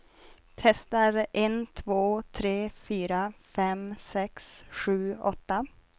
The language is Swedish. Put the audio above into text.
Testar en två tre fyra fem sex sju åtta.